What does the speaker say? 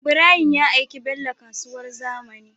Ibrahim ya aiki bello kasuwar zamani